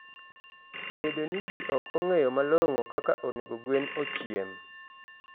Bedo ni ji ok ong'eyo malong'o kaka onego gwen ochiem.